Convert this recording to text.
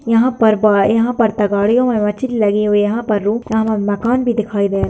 यहाँ पर बा यहाँ पर तगाड़ियों में मछली लगी हुई है यहाँ पर रूम मकान भी दिखाई दे --